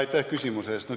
Aitäh küsimuse eest!